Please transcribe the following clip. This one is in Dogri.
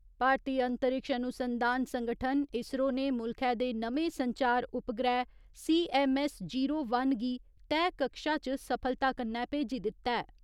भारतीय अंतरिक्ष अनुसंधान संगठन इसरो ने मुल्खै दे नमें संचार उपग्रह सीऐम्मऐस्स जीरो वन गी तय कक्षा च सफलता कन्नै भेजी दिता ऐ।